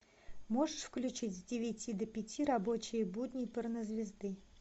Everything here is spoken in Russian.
можешь включить с девяти до пять рабочие будни порнозвезды